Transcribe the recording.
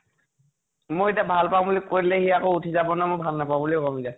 মই এতিয়া ভাল পাওঁ বুলি কৈ দিলে সি আকৌ উঠি যাব ন, মই ভাল নাপাওঁ বুলিয়ে কম দিয়া ।